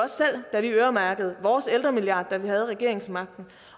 da vi øremærkede vores ældremilliard da vi havde regeringsmagten